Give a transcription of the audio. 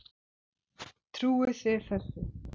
Trúið þið þessu?